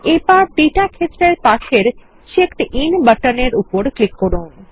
এবারডেটা ক্ষেত্রের পাশেরCheckedIn বাটন এরউপর ক্লিক করুন